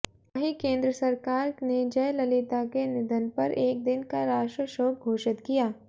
वहीं केंद्र सरकार ने जयललिता के निधन पर एक दिन का राष्ट्रीय शोक घोषित किया